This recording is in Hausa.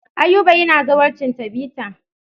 Ayuba yana zawarcin Tabita.